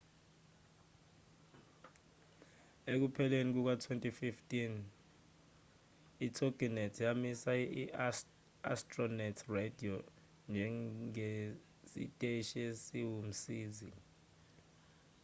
ekupheleni kuka-2015 itoginet yamisa i-astronet radio njengesiteshi esiwumsizi